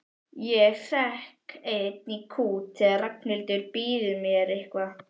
Ég hrekk enn í kút þegar Ragnhildur býður mér eitthvað.